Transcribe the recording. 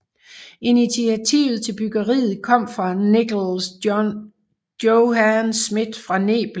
Initiativet til byggeriet kom fra Nickels Johann Schmidt fra Nebel